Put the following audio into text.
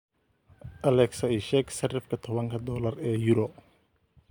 alexa ii sheeg sarifka tobanka dollar ee euro